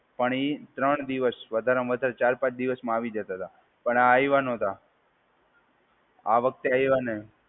પણ એ ત્રણ દિવસ વધારે ને વધારે ચાર પાંચ દિવસમાં આવી જતા હતા. પણ આયવા નતાં. આ વખતે આયવા નહીં.